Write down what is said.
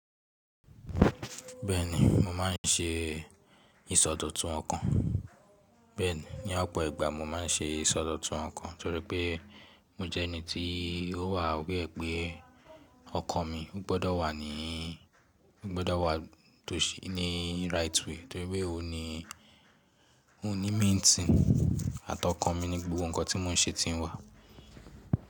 Bẹ́ẹ̀ni mo má a n ṣe ìsọdọ̀tun ọkàn. Bẹ́ẹ̀ni, ní ọ̀pọ̀ ìgbà mo má n ṣe ìsọdọ̀tun ọkàn torí pé mo jẹ́ ẹni tí ó wà aware pé ọkàn mi ò gbọdọ̀ wà ní, ò gbọdọ̀ wà tòsì ní right way torí pé òun ní, òun ní main thing àtọkàn mi ní gbogbo ǹkan tí mò n ṣe ti n wá.